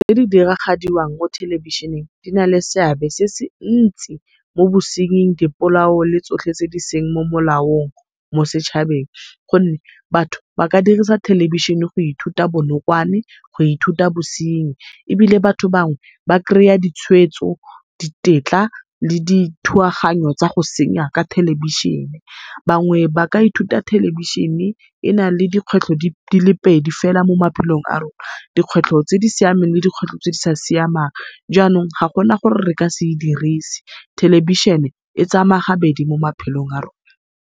diragadiwang mo thelebešhineng di na le seabe se se ntsi mo bosenying, dipolao le tsotlhe tse di seng mo molaong mo setšhabeng, gonne batho baka dirisa thelebišhene go ithuta bonokwane, go ithuta bosenyi ebile batho bangwe ba kry-a ditshweetso ditetla le dithuaganyo tsa go senya ka thelebišhene. Bangwe ba ka ithuta thelebišhene ena le dikgwetlho dile pedi fela mo maphelong a rona, dikgwetlho tse di siameng le di kgwetlho tse di sa siamang, jaanong ga gona gore re ka se e dirisi. Thelebišhene e tsamaya gabedi mo maphelong a rona.